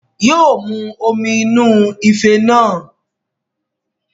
Yóo mu omi inú ife náà